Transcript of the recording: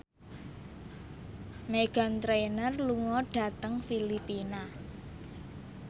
Meghan Trainor lunga dhateng Filipina